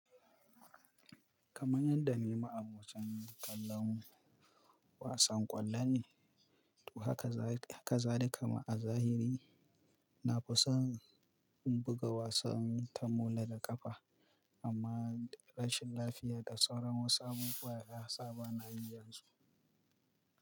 Kaman yadda nima abocan kallon wasan kwallo ne, to haka za haka za ni kama a zahiri. Na fi son in buga wasan ta mola da kafa amma rashin lafiya da tsaron wasu abubuwa ya sa ba na yi yanzu.